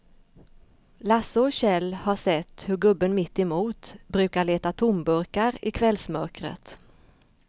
Lasse och Kjell har sett hur gubben mittemot brukar leta tomburkar i kvällsmörkret.